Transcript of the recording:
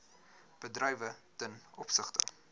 bedrywe ten opsigte